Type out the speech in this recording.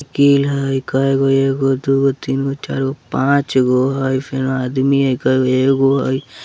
साइकिल हेय कएगो एगो दुगो तीनगो चार गो पाच गो हेय फेरो आदमी हेय कईगो एगो हेय।